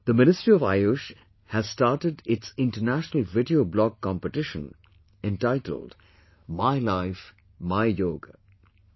The Ministry of AYUSH has started its International Video Blog competition entitled 'My Life, My Yoga'